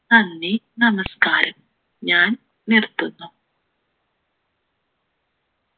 നന്ദി നമസ്കാരം ഞാൻ നിർത്തുന്നു